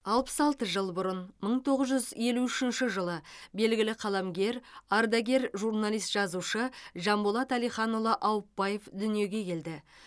алпыс алты жыл бұрын мың тоғыз жүз елу үшінші жылы белгілі қаламгер ардагер журналист жазушы жанболат әлиханұлы аупбаев дүниеге келді